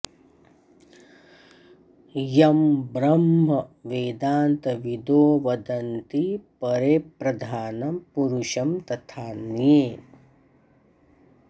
यं ब्रह्म वेदान्तविदो वदन्ति परे प्रधानं पुरुषं तथान्ये